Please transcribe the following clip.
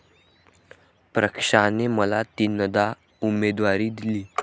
पक्षाने मला तीनदा उमेदवारी दिली.